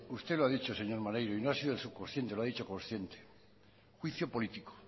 usted lo ha dicho señor maneiro y no ha sido el subconsciente y lo ha dicho consciente juicio político